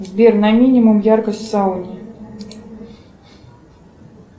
сбер на минимум яркость в сауне